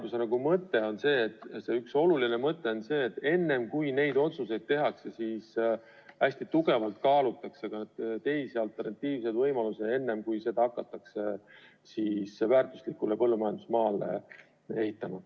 Üks oluline selle seaduse mõte on see, et enne kui neid otsuseid tehakse, hästi põhjalikult kaalutaks ka teisi, alternatiivseid võimalusi, enne kui midagi hakatakse väärtuslikule põllumajandusmaale ehitama.